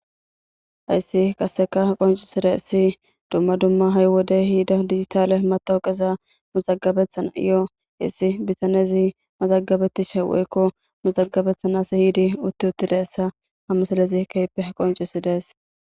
Haysi qaseka qoncisidays dumma dumma ha'i wodey ehida dijitale matawoqaza mazabetanayo issi bitanezi mazagabetanayo yiid woyko mazagabetishe uti utidaysa ha misilez keehippe qoncisudes